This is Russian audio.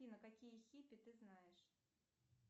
афина какие хиппи ты знаешь